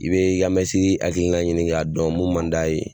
I bɛ i ka mɛsi hakilina ɲini k'a dɔn mun man d'a ye.